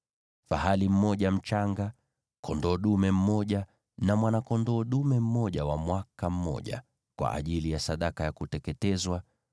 fahali mmoja mchanga, kondoo dume mmoja na mwana-kondoo dume mmoja wa mwaka mmoja, kwa ajili ya sadaka ya kuteketezwa;